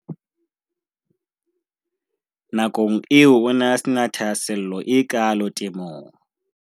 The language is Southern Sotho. Na kong eo o ne a se na thahase llo e kaalo temong.